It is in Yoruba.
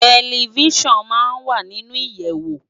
Tèlifisán má n wá ninú iyèwó